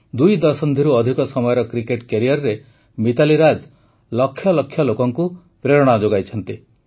ଦୁଇ ଦଶନ୍ଧିରୁ ଅଧିକ ସମୟର କ୍ରିକେଟ କ୍ୟାରିୟରରେ ମିତାଲି ରାଜ ଲକ୍ଷ ଲକ୍ଷ ଲୋକଙ୍କୁ ପ୍ରେରଣା ଯୋଗାଇଛନ୍ତି